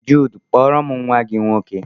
Jude, kpọọrom nwa gị nwoke!